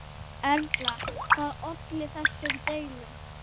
Erla, hvað olli þessum deilum?